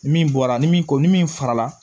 Min bɔra ni min ko ni min fara la